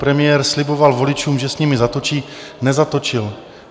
Premiér sliboval voličům, že s nimi zatočí, nezatočil.